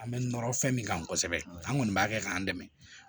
An bɛ nɔrɔ fɛn min kan kosɛbɛ an kɔni b'a kɛ k'an dɛmɛ